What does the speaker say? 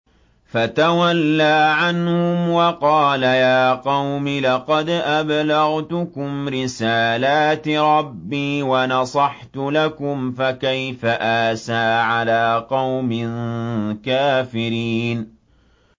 فَتَوَلَّىٰ عَنْهُمْ وَقَالَ يَا قَوْمِ لَقَدْ أَبْلَغْتُكُمْ رِسَالَاتِ رَبِّي وَنَصَحْتُ لَكُمْ ۖ فَكَيْفَ آسَىٰ عَلَىٰ قَوْمٍ كَافِرِينَ